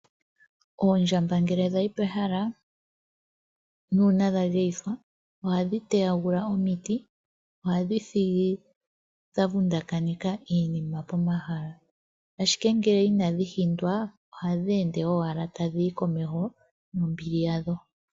Oondjamba ngele dhayi pehala, nuuna dha geyithwa oha dhi teyagula omiti. Oha dhi thigi dha vundakaneka iinima pomahala. Ashike ngele inadhi hindwa ohadhi ende owala tadhi yi komeho nombili yadho.